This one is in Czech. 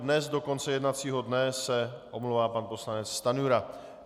Dnes do konce jednacího dne se omlouvá pan poslanec Stanjura.